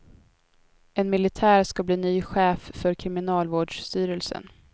En militär ska bli ny chef för kriminalvårdsstyrelsen.